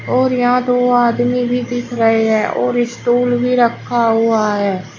और यहां दो आदमी भी दिख रहे हैं और स्टूल भी रखा हुआ है।